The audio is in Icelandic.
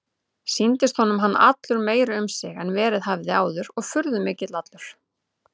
Sýndist honum hann allur meiri um sig en verið hafði áður og furðumikill allur.